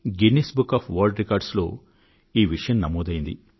Guinness book of world records లో కూడా ఈ విషయం నమోదైంది